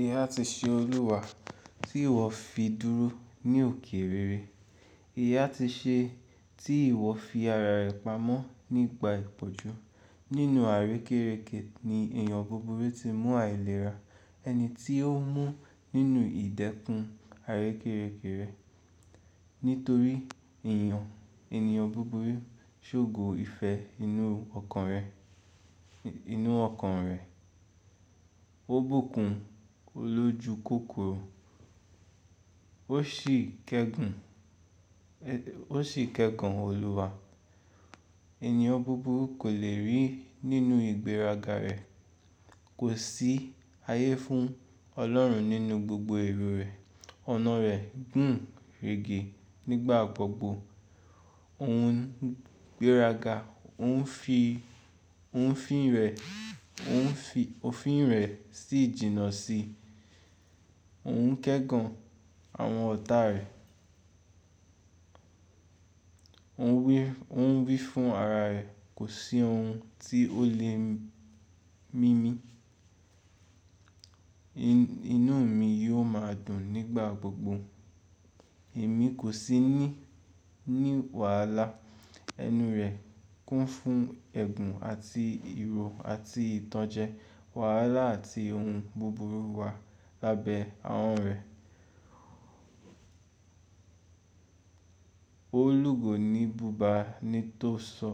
Ìyá ti ṣe Olúwa tí ìwọ fi dúró ní òkè rere. Ìyá ti ṣe tí ìwọ fi ara rẹ̀ pamọ́ nígbà ìpọ́njú. Nínú àrékérekè ni èèyàn gbogbo ti mú àìlera. Ẹni tí ó mú nínú ìdẹ́kun àrékérekè. Nítorí èèyàn, ènìyàn gbogbo sógo ìfẹ́ inú ọkàn rẹ̀, inú ọkàn rẹ̀. Ó bùkún olójú kòkòrò. Ó sì kẹ́gàn, ó sì kẹ́gàn Olúwa. Ẹ̀níyàn gbogbo kò lè rí nínú ìgbéraga rẹ̀. Kò sí ayé fún Ọlọ́run nínú gbogbo èrò rẹ̀. Ọ̀nà rẹ̀ gùn rẹ́gẹ nígbà gbogbo. Òun gbéraga, òun fi, òun fín rẹ̀, òun fi òfin rẹ̀ sí ìjìnnà sí i. Òun ń kẹ́gàn àwọn ọ̀tá rẹ̀. Òun wí, òun wí fún ara rẹ̀, kò sí ohun tí ó lè mímí. Inú mi yóò máa dùn nígbà gbogbo. Èmi kò sí ní, ní wàhálà. Enu rẹ̀ kún fún ẹ̀gún àti ìrò àti ìtànjẹ. Wàhálà àti ohun búburú wà lábẹ́ àhan rẹ̀. Ó lù gò ní bùbá ní tó sọ,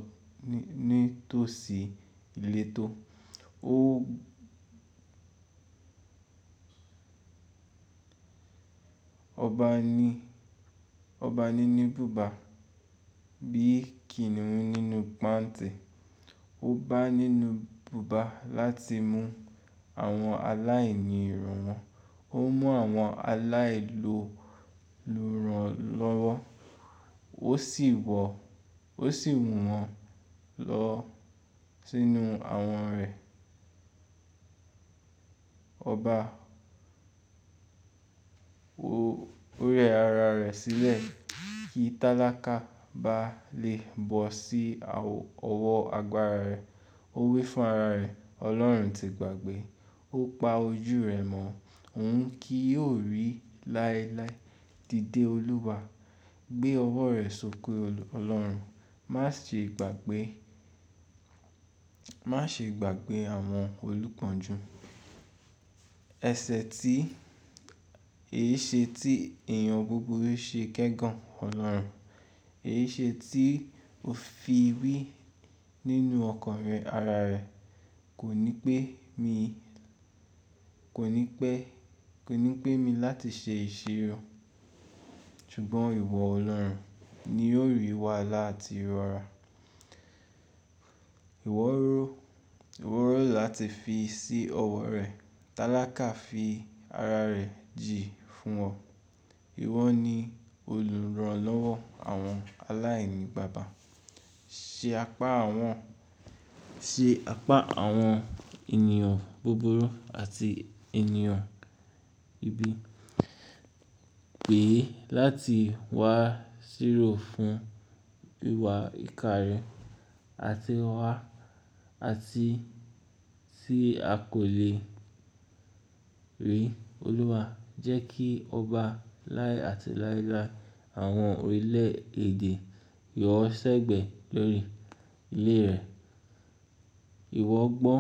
nítósí ìletò. Ó. Ọba ní, ọba nínú bùbá bí kìnnìún nínú pàntí. Ó bá nínú bùbà láti mú àwọn aláìní ìrun wọn. Ó mú àwọn aláìloluranlọ́wọ́. Ó sì wọ, ó sì mù wọ́n lọ sínú àwọn rẹ̀. Ọba, ó rẹ ara rẹ̀ sílẹ̀ kí tálákà bá lè bọ́ sí ọwọ́ agbára rẹ̀. Ó wí fún ara rẹ̀, Ọlọ́run ti gbàgbé. Ó pa ojú rẹ̀ mọ́. Òun kí yóò rí láéláé dìde Olúwa. Gbé ọwọ́ rẹ̀ sókè Ọlọ́run. Má ṣe gbàgbé, má ṣe gbàgbé àwọn olùkọ́njú. Ẹ̀sẹ̀ tí, èéṣe tí èèyàn gbogbo ṣe kẹ́gàn Ọlọ́run. Èéṣe tí ó fi wí nínú ọkàn rẹ̀, ara rẹ̀. Kò ní pé mi, kò ní pé, kò ní pé mi láti ṣe ìṣirò. Ṣùgbọ́n ìwọ Ọlọ́run ni yóò rí wàhálà àti ìrora. Ìwọ rò, ìwọ rò láti fi sí ọwọ́ rẹ̀. Tálákà fi ara rẹ̀ jì fún ọ. Ìwọ ni olùránlọ́wọ́ àwọn aláìní bàbá. Ṣe apá àwọn, ṣe apá àwọn ènìyàn buburu àti ènìyàn ibi. Pè é láti wá sírò fún wíwa ìka rẹ̀, àti wá, àti tí a kò lè rí Olúwa. Jẹ́ kí ọba láé àti láéláé àwọn orílẹ̀ èdè yọ̀ọ́ sẹ́gbẹ̀ẹ́ lórí ilé rẹ̀. Ìwọ gbọ́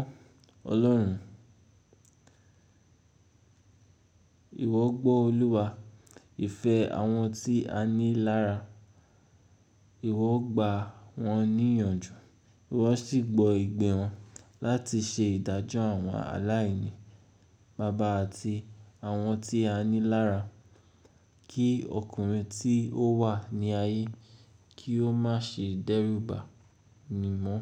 Ọlọ́run. Ìwọ gbọ́ Olúwa. Ìfẹ́ àwọn tí a ní lára. Ìwọ gba wọ́n ní ìyànjú. Ìwọ sì gbọ́ ìgbẹ́ wọn láti ṣe ìdájọ́ àwọn aláìní bàbá àti àwọn tí a ní lára. Kí ọkùnrin tí ó wà ní ayé, kí ó má ṣe dẹ́rù bà mí mọ́.